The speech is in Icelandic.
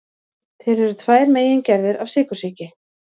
Til eru tvær megingerðir af sykursýki.